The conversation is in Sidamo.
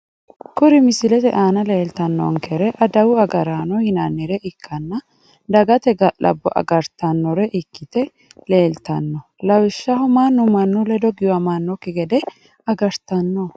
kuuri misillete Anna lellitanonkerre adawu agaranno yinnare ikana dagate gallabbo agaritanore ikkite lellitanno! lawishaho mannu mannu ledo giwamanokki gede agaritanno.